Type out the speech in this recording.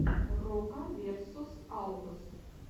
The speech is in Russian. рокаверсусалдос